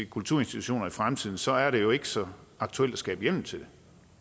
kulturinstitutioner i fremtiden så er det jo ikke så aktuelt at skabe hjemmel til det